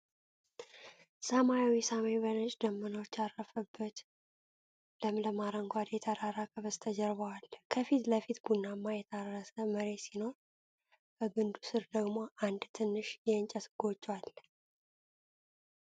ሰማያዊ ሰማይ በነጭ ደመናዎች ያረፈበት፣ ለምለም አረንጓዴ ተራራ ከበስተጀርባው አለ። ከፊት ለፊት ቡናማ የታረሰ መሬት ሲኖር፣ ከግንዱ ሥር ደግሞ አንድ ትንሽ የእንጨት ጎጆ አለ።